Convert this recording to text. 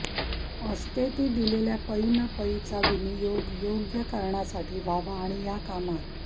असते ती दिलेल्या पै अन पैचा विनियोग योग्य कारणासाठी व्हावा आणि या कामात